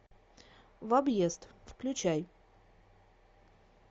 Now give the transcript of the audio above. в объезд включай